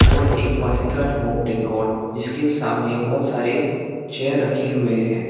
और एक Pasighat home decor जिसके सामने बहुत सारे चेयर रखे हुए हैं।